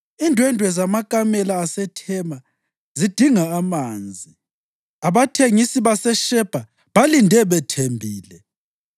Indwendwe zamakamela aseThema zidinga amanzi, abathengisi baseShebha balinde bethembile.